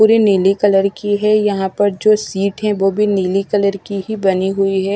पूरी नीली कलर की है यहां पर जो सीट है वो भी नीली कलर की ही बनी हुई है।